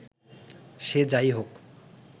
সে যা-ই হোক